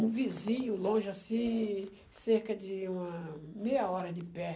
Um vizinho, longe assim, cerca de uma meia hora de pé.